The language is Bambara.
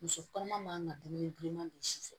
Muso kɔnɔma man ŋa dumuni bilenman don si fɛ